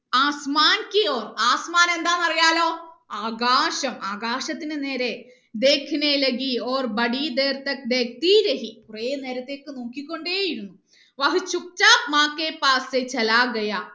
എന്താണ് അറിയാലോ ആകാശം ആകാശത്തിന് നേരെ കുറെ നേരത്തേക്ക് നോക്കി കൊണ്ടേ ഇരുന്നു